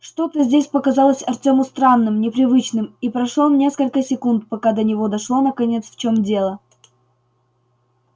что-то здесь показалось артёму странным непривычным и прошло несколько секунд пока до него дошло наконец в чём дело